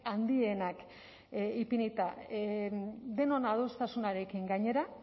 handienak ipinita denon adostasunarekin gainera